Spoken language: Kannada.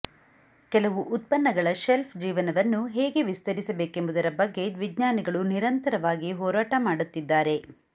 ಕೆಲವು ಉತ್ಪನ್ನಗಳ ಶೆಲ್ಫ್ ಜೀವನವನ್ನು ಹೇಗೆ ವಿಸ್ತರಿಸಬೇಕೆಂಬುದರ ಬಗ್ಗೆ ವಿಜ್ಞಾನಿಗಳು ನಿರಂತರವಾಗಿ ಹೋರಾಟ ಮಾಡುತ್ತಿದ್ದಾರೆ